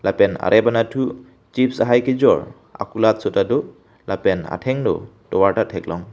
pen arep anatthu chip's hai kejor akulatso ta do lapen athengno tovar ta theklong.